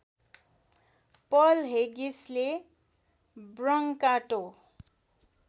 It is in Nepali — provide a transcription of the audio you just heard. पल हेगिसले ब्रङ्काटो